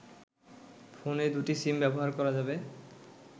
ফোনে দুটি সিম ব্যবহার করা যাবে